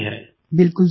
प्रेम जी बिलकुल सर